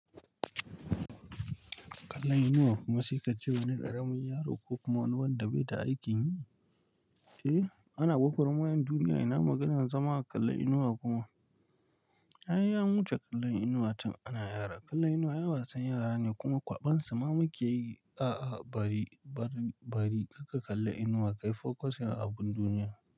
Kallon inuwa kuma saika ce wani ƙaramin yaro ko kuma wani wanda bai da aikin yi, eh ana gwagwar mayan duniya ina maganan zama a kalla inuwa kuma. Ai an wuce kallon inuwa tin ana yara. Kallon inuwa ai wasan yara ne kuma kwaɓan su ma muke yi. A'a bari, bari, bari karka kalla inuwa kai focusing akan abun duniya.